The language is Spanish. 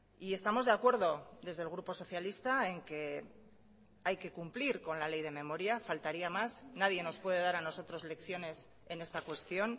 y estamos de acuerdo desde el grupo socialista en que hay que cumplir con la ley de memoria faltaría más nadie nos puede dar a nosotros lecciones en esta cuestión